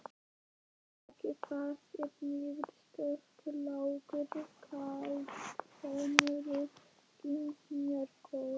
Að baki þessari niðurstöðu lágu kaldhömruð skynsemisrök.